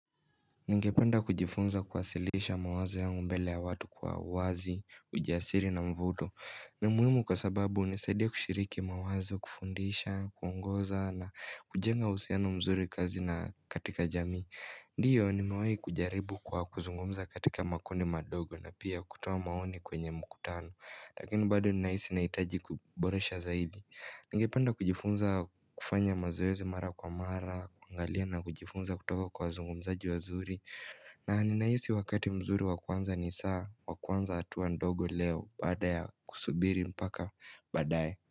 Ningependa kujifunza kuwasilisha mawazo yangu mbele ya watu kwa uwazi, ujasiri na mvuto ni muhimu kwa sababu hunisaidia kushiriki mawazo kufundisha, kuongoza na kujenga uhusiano mzuri kazini na katika jamii Ndiyo nimewai kujaribu kwa kuzungumza katika makundi madogo na pia kutoa maoni kwenye mkutano Lakini bado ninahisi ninahitaji kuboresha zaidi Ningepanda kujifunza kufanya mazoezi mara kwa mara, kuangalia na kujifunza kutoka kwa wazungu mzaji wa zuri na ninahisi wakati mzuri wakuanza ni saa, wakuanza hatua ndogo leo badala ya kusubiri mpaka baadaye.